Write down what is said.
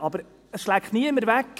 Aber das schleckt niemand weg: